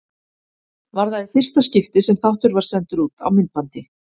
Var það í fyrsta skipti sem þáttur var sendur út á myndbandi.